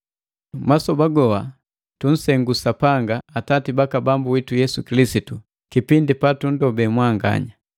Masoba goha tunsengu Sapanga, Atati baka Bambu witu Yesu Kilisitu, kipindi patundobe mwanganya.